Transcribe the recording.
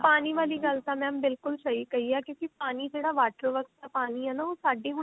ਪਾਣੀ ਵਾਲੀ ਗੱਲ ਤਾਂ mam ਬਿਲਕੁਲ ਸਹੀ ਕਹੀ ਐ ਕਿਉਂਕਿ ਪਾਣੀ ਜਿਹੜਾ waterworks ਦਾ ਪਾਣੀ ਹੈ ਨਾ ਉਹ ਸਾਡੇ ਹੁਣ